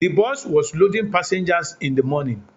The bus was loading passengers in the morning